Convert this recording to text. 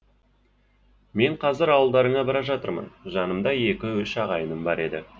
мен қазір ауылдарыңа бара жатырмын жанымда екі үш ағайыным бар еді